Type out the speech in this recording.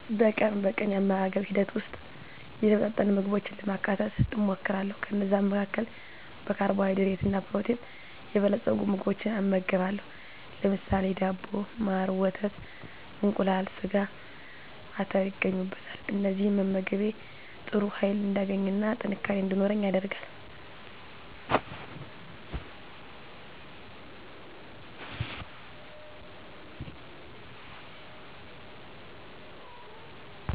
በቀን በቀን የአመጋገብ ሂደት ውስጥ የተመጣጠነ ምግቦችን ለማካተት እሞክራለሁ። ከነዛም መካከል በካርቦሀይድሬት እና ፕሮቲን የበለፀጉ ምግቦችን እመገባለሁ ለምሳሌ ዳቦ፣ ማር፣ ወተት፣ እንቁላል፣ ስጋ፣ አተር ይገኙበታል። እነዚህን መመገቤ ጥሩ ህይል እንዳገኝና ጥንካሬ እንዲኖረኝ ያደርጋል።